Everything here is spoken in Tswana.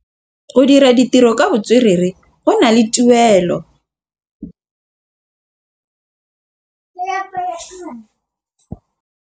Go dira ditirô ka botswerere go na le tuelô.